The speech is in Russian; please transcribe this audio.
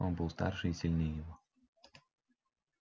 он был старше и сильнее его